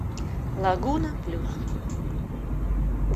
лагуна плюс